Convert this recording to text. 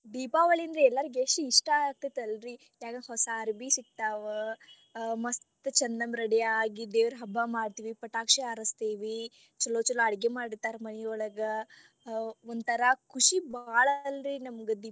ದೀಪಾವಳಿಯಂದ್ರ ಎಲ್ಲಾರಿಗೆ ಎಷ್ಟ ಇಷ್ಟ ಅಕ್ಕೆತಲ್ಲರಿ ಯಾಕ ಹೊಸಾ ಅರಬಿ ಸಿಕ್ತಾವ ಆ ಮಸ್ತ್ ಚಂದಂಗ ready ಆಗಿ ದೇವರ ಹಬ್ಬ ಮಾಡ್ತೀವಿ ಪಟಾಕ್ಷಿ ಹಾರಸ್ತೆವಿ ಚೊಲೊ ಚೊಲೊ ಅಡಗಿ ಮಾಡಿರ್ತಾರ ಮನಿಯೊಳಗ ಆ ಒಂತರಾ ಖುಷಿ ಬಾಳ ಅಂದ್ರೆ ನಮ್ಗೆ ದೀಪಾವಳಿ ಅಂತಂದ್ರೆ.